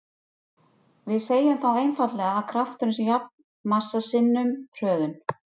Við segjum þá einfaldlega að krafturinn sé jafn massa sinnum hröðun.